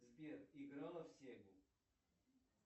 сбер играла в сегу